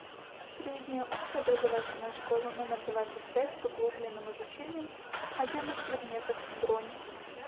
средняя общеобразовательная школа номер двадцать пять с углубленным изучением отдельных предметов бронь